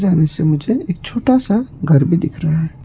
मुझे एक छोटा सा घर भी दिख रहा है।